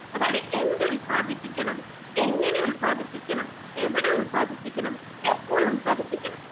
അതായത് എന്തുല്പാദിപ്പിക്കണം എങ്ങനെ ഉൽപ്പാദിപ്പിക്കണം എവടെ ഉത്പാദിപ്പിക്കണം എപ്പോളുല്പാദിപ്പിക്കണം.